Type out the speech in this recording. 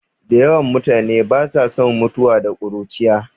Da yawan mutane ba sa son mutuwa da ƙuruciya